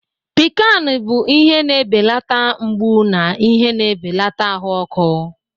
Piccan bụ ihe na-ebelata mgbu na ihe na-ebelata ahụ ọkụ.